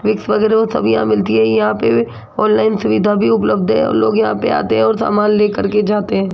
Vicks वगैरा वो सब यहां मिलती हैं यहां पे ऑनलाइन सुविधा भी उपलब्ध है और लोग यहां पे आते है और सामान लेकर के जाते हैं।